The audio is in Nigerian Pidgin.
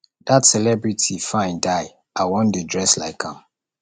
dat celebrity fine die i wan dey dress like am